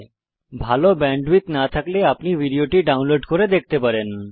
যদি ভাল ব্যান্ডউইডথ না থাকে তাহলে আপনি ভিডিও টি ডাউনলোড করে দেখতে পারেন